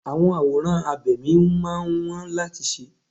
Àwọn àwòrán abẹ̀mí máa ń wón láti ṣe.